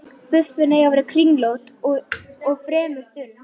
Buffin eiga að vera kringlótt og fremur þunn.